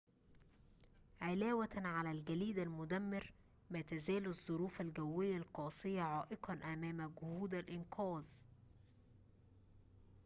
علاوةً على الجليد المدمر ما تزال الظروف الجوية القاسية عائقاً أمام جهود الإنقاذ